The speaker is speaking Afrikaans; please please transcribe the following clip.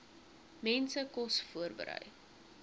mense kos voorberei